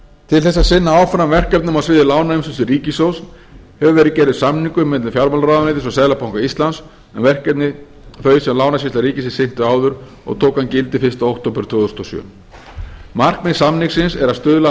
til þess að sinna áfram verkefnum á sviði lánaumsýslu ríkissjóðs hefur verið gerður samningur milli fjármálaráðuneytis og seðlabanka íslands um verkefni þau sem lánasýsla ríkisins sinnti áður og tók hann gildi fyrsta október tvö þúsund og sjö markmið samningsins er að stuðla að